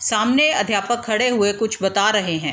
सामने अध्यापक खड़े हुए कुछ बता रहें हैं।